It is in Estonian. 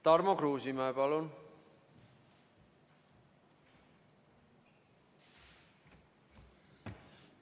Tarmo Kruusimäe, palun!